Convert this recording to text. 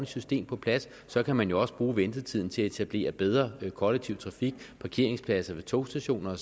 system på plads så kan man også bruge ventetiden til at etablere bedre kollektiv trafik parkeringspladser ved togstationer